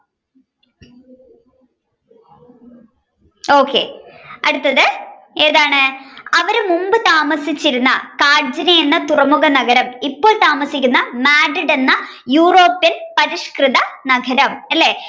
okay അടുത്തത് ഏതാണ് അവർ മുൻപ് താമസിച്ചിരുന്ന കാഞ്ചന എന്ന തുറമുഖ നഗരം ഇപ്പോൾ താമസിക്കുന്ന Madrid എന്ന Europe ൽ പരിഷ്‌കൃത നഗരം അല്ലെ.